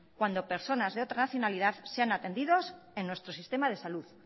cuando personas de otra nacionalidad sean atendidas en nuestro sistema de salud